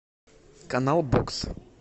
канал бокс